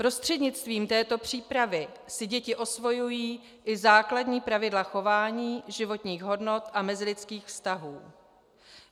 Prostřednictvím této přípravy si děti osvojují i základní pravidla chování, životních hodnot a mezilidských vztahů.